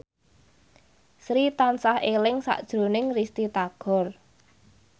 Sri tansah eling sakjroning Risty Tagor